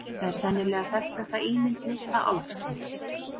Þetta er sennilega þekktasta ímynd litla álfsins.